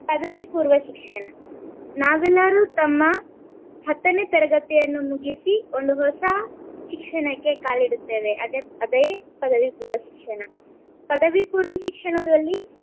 ಪದವಿ ಪೂರ್ವ ಶಿಕ್ಷಣ ನಾವೆಲ್ಲರೂ ತಮ್ಮ ಹತ್ತನೇ ತರಗತಿಯನ್ನು ಮುಗಸಿ ಒಂದು ಹೊಸ ಶಿಕ್ಷಣಕ್ಕೆ ಕಾಲಿಡುತ್ತೇವೆ ಅದೆ ಅದೇ ಪದವಿ ಪೂರ್ವ ಶಿಕ್ಷಣ. ಪದವಿ ಪೂರ್ವ ಶಿಕ್ಷಣದಲ್ಲಿ